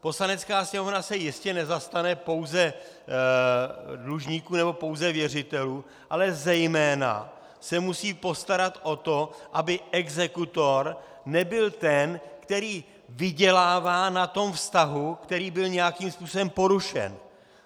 Poslanecká sněmovna se jistě nezastane pouze dlužníků nebo pouze věřitelů, ale zejména se musí postarat o to, aby exekutor nebyl ten, který vydělává na tom vztahu, který byl nějakým způsobem porušen.